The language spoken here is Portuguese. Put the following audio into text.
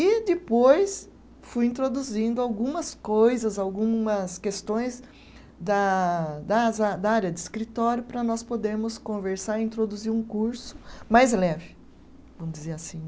E depois fui introduzindo algumas coisas, algumas questões da das a, da área de escritório para nós podermos conversar e introduzir um curso mais leve, vamos dizer assim.